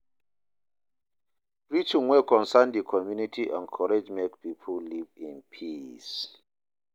Preaching wey concern di community encourage make pipo live in peace